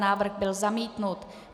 Návrh byl zamítnut.